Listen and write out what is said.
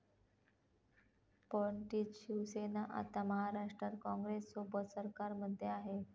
पण तीच शिवसेना आता महाराष्ट्रात काँग्रेससोबत सरकारमध्ये आहे.